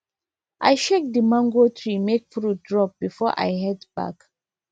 i shake the mango tree make fruits drop before i head back